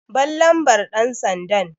Ban lambar ɗansandan!